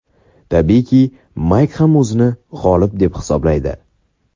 Tabiiyki, Mayk ham o‘zini g‘olib deb hisoblaydi.